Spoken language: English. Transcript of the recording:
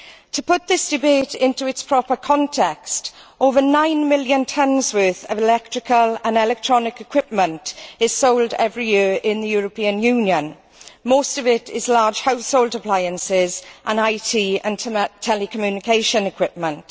To put this debate into its proper context, over 9 million tonnes of electrical and electronic equipment is sold every year in the European Union. Most of this is large household appliances and IT and telecommunication equipment.